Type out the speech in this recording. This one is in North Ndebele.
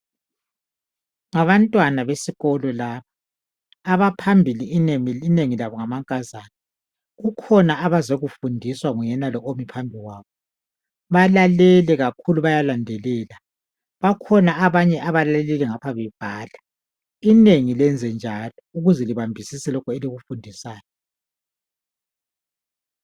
Ngabantwana besikolo laba. Abaphambili inengi labo ngamankazana ,kukhona abazokufundiswa nguyenalo omephambili kwabo. Balalele kakhulu bayalandelela, bakhona abanye abalalelayo ngapha bebhala inengi lenze njalo ukuze libambisise elikufundiswayo.